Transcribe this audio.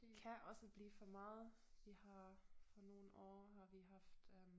Kan også blive for meget vi har for nogle år har vi haft øh